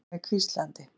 spurðum við hvíslandi.